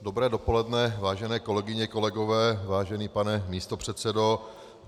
Dobré dopoledne, vážené kolegyně, kolegové, vážený pane místopředsedo.